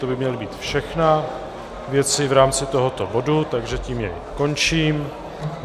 To by měly být všechny věci v rámci tohoto bodu, takže tím jej končím.